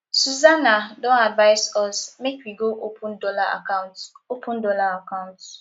susana don advise us make we go open dollar account open dollar account